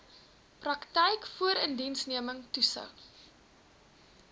praktyk voorindiensneming toetsing